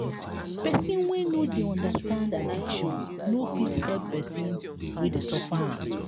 pesin wey no dey understand addiction no fit help pesin wey dey suffer am.